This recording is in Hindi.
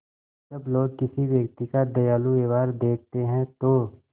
जब लोग किसी व्यक्ति का दयालु व्यवहार देखते हैं तो